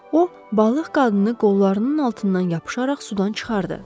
O balıq qadını qollarının altından yapışaraq sudan çıxardı.